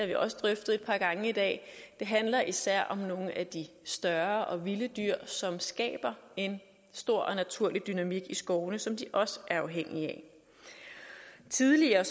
vi også drøftet et par gange i dag det handler især om nogle af de større og vilde dyr som skaber en stor og naturlig dynamik i skovene som de også er afhængige af tidligere